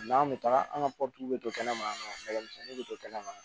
an bɛ taga an ka bɛ to kɛnɛma yan misɛnnin bɛ to kɛnɛ ma